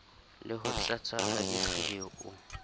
le ho tlatswa ha dikgeo